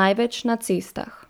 največ na cestah.